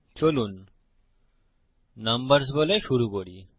চলুন নম্বরর্স বলে শুরু করি